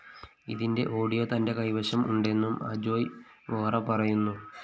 ഇതിന്റെ ഓഡിയോ തന്റെ കൈവശം ഉണ്ടെന്നും അജോയ് വോറ പറയുന്നു